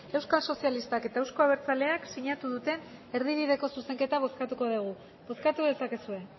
euskal sozialistak eta euzko abertzaleak sinatu duten erdibideko zuzenketa bozkatuko dugu bozkatu dezakezue